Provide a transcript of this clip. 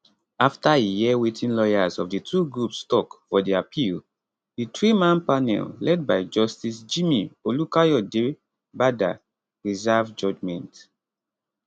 afta e hear wetin lawyers of di two groups tok for di appeal di threeman panel led by justice jimi olukayodebada reserve judgment